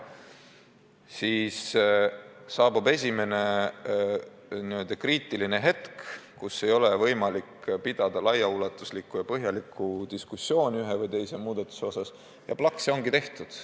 Siis aga saabub esimene n-ö kriitiline hetk, kus ei ole võimalik pidada laiaulatuslikku ja põhjalikku diskussiooni ühe või teise muudatuse üle – ja plaks, ongi tehtud.